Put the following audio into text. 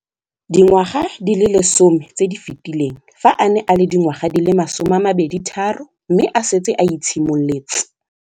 Dingwaga di le 10 tse di fetileng, fa a ne a le dingwaga di le 23 mme a setse a itshimoletse.